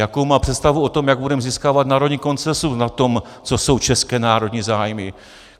Jakou má představu o tom, jak budeme získávat národní konsenzus na tom, co jsou české národní zájmy?